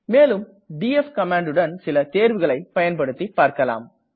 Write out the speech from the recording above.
மேலும் டிஎஃப் கமாண்டுடன் சில தேர்வுகளை பயன்படுத்தி பார்க்களாம்